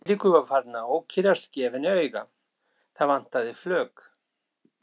Sá að Eiríkur var farinn að ókyrrast og gefa henni auga, það vantaði flök.